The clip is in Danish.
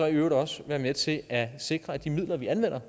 i øvrigt også være med til at sikre at de midler vi anvender